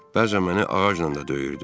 Bəzən məni ağacla da döyürdü.